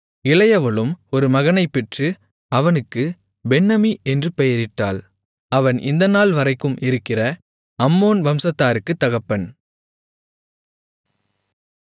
இளையவளும் ஒரு மகனைப்பெற்று அவனுக்குப் பென்னம்மி என்று பெயரிட்டாள் அவன் இந்த நாள்வரைக்கும் இருக்கிற அம்மோன் வம்சத்தாருக்குத் தகப்பன்